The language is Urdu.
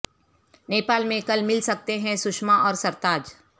نیپال میں کل مل سکتے ہیں سشما اور سرتاج